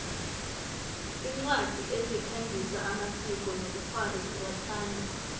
incwadi ezikhangisa amasiko nobkhwari ziyathandwa